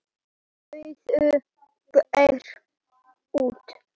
Iðunn gefur út.